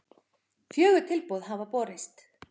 Fjögur tilboð hafa borist